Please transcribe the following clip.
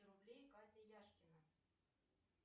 рублей катя яшкина